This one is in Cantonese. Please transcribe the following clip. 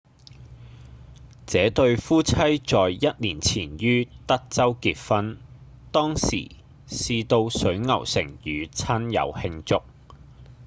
這對夫妻在一年前於德州結婚當時是到水牛城與親友慶祝